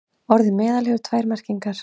Orðið meðal hefur tvær merkingar.